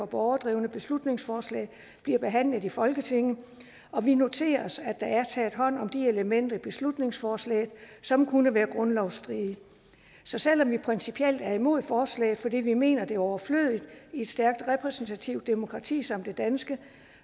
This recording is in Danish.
borgerdrevne beslutningsforslag bliver behandlet i folketinget og vi noterer os at der er taget hånd om de elementer i beslutningsforslaget som kunne være grundlovsstridige så selv om vi principielt er imod forslaget fordi vi mener det er overflødigt i et stærkt repræsentativt demokrati som det danske